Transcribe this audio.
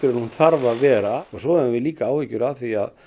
en hún þarf að vera og svo höfum við líka áhyggjur af því að